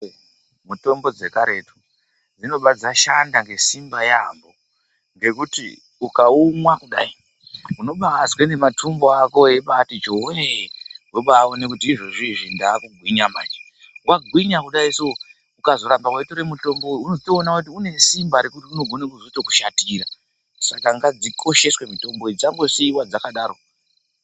Mitombo dzekaretu dzinoba dzashanda ngesimba yaamho ngekuti ukaumwa kudai unobaazwe nematumbu ako eibaati chowee unobaone kuti izvozvizvi ndaakugwinya manje, wagwinya kudaiso ukazoramba weitora mutombo uyu unozotoona kuti une simba rekuti unogona kuzotokushatira saka ngadzikosheswe mitombo idzi dzisambosiiwa dzakadaro